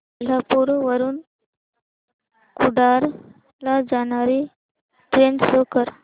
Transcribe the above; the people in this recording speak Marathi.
कोल्हापूर वरून कुडाळ ला जाणारी ट्रेन शो कर